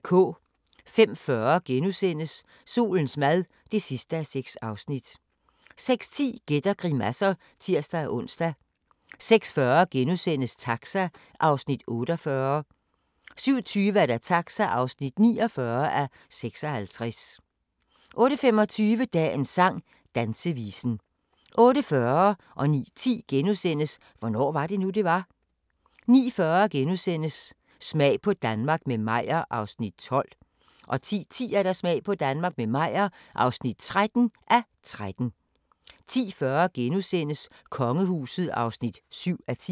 05:40: Solens mad (6:6)* 06:10: Gæt og grimasser (tir-ons) 06:40: Taxa (48:56)* 07:20: Taxa (49:56) 08:25: Dagens sang: Dansevisen 08:40: Hvornår var det nu, det var? * 09:10: Hvornår var det nu, det var? * 09:40: Smag på Danmark – med Meyer (12:13)* 10:10: Smag på Danmark – med Meyer (13:13) 10:40: Kongehuset (7:10)*